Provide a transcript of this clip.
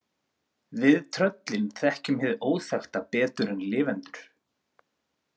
Við tröllin þekkjum hið óþekkta betur en lifendur.